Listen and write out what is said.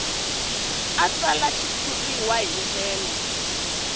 a tsala xitshuriwa hi ndlela